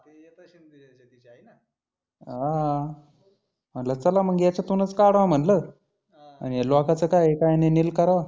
हा म्हटलं चला मग याच्यातुनच काढावा म्हटलं आन ह्या लोकांच काय आहे काय नही नील करावा.